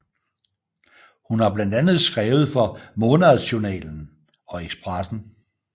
Hun har blandt andet skrevet for Månadsjournalen og Expressen